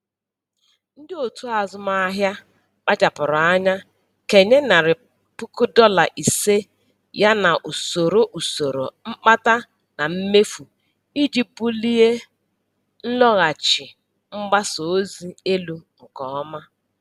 Ndị otu azụmaahịa kpachapụrụ anya kenye narị pụkụ dọla ise ya na usoro usoro mkpata na mmefu iji bulie nlọghachi mgbasa ozi elu nke ọma.